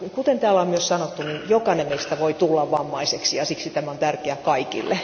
Kuten täällä on myös sanottu, jokainen meistä voi tulla vammaiseksi ja siksi tämä on tärkeää kaikille.